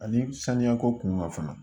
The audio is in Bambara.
Ani saniya ko kunkan fana